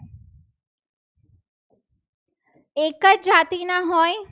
એક જ જાતિના હોય.